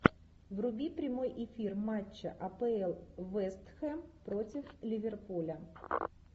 вруби прямой эфир матча апл вест хэм против ливерпуля